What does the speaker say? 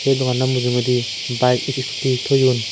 doganno mujungudi baet is isukudi toyon.